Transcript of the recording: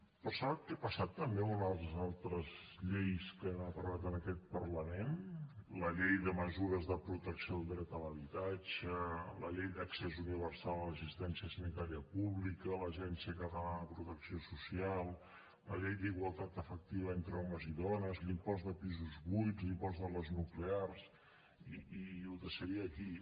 però sap què ha passat també amb unes altres lleis que hem aprovat en aquest parlament la llei de mesures de protecció al dret de l’habitatge la llei d’accés universal a l’assistència sanitària pública l’agència catalana de protecció social la llei d’igualtat efectiva entre homes i dones l’impost de pisos buits l’impost a les nuclears i ho deixaré aquí